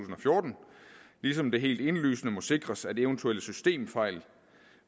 fjorten ligesom det helt indlysende må sikres at eventuelle systemfejl